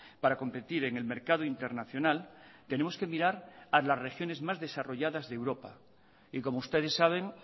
para competir en el mercado internacional tenemos que mirar a las regiones más desarrolladas de europa y como ustedes saben